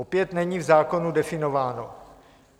Opět není v zákonu definováno.